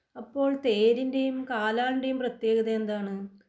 അപ്പോൾ തേരിൻ്റെയും കാലാളിൻ്റെയും പ്രത്യേകതയെന്താണ്?